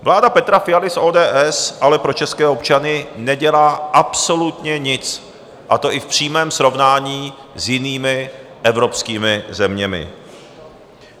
Vláda Petra Fialy z ODS ale pro české občany nedělá absolutně nic, a to i v přímém srovnání s jinými evropskými zeměmi.